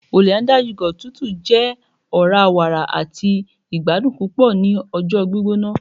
hollandia yoghurt tútù jẹ ọra-wàrà àti ìgbadùn púpò ni ọjọ gbígbóná